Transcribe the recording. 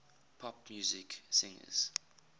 pop music singers